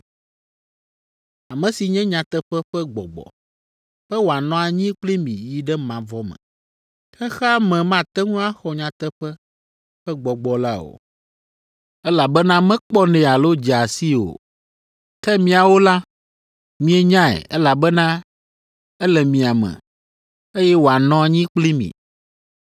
ame si nye nyateƒe ƒe Gbɔgbɔ, be wòanɔ anyi kpli mi yi ɖe mavɔ me. Xexea me mate ŋu axɔ nyateƒe ƒe Gbɔgbɔ la o, elabena mekpɔnɛ alo dzea sii o. Ke miawo la, mienyae, elabena ele mia me, eye wòanɔ anyi kpli mi.